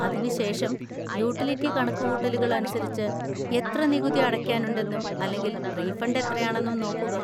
അതിനുശേഷം യൂട്ടിലിറ്റി കണക്കുകൂട്ടലുകൾ അനുസരിച്ച് എത്ര നികുതി അടയ്ക്കാനുണ്ടെന്നും അല്ലെങ്കിൽ റീഫണ്ട് എത്രയാണെന്നും നോക്കുക.